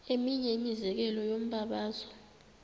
eminye imizekelo yombabazo